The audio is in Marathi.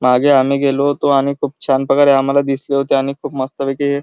मागे आम्ही गेलो होतो आणि खूप छान प्रकारे आम्हाला दिसले होते आणि खूप मस्त पैकी--